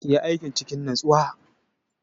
Ki yi aikin cikin natsuwa!